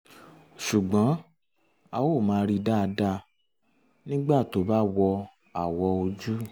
ṣùgbọ́n ó máa ń rí dáadáa nígbà tó bá wọ awò ojú